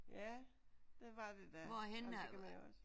Ja det var det da. Og det kan man jo også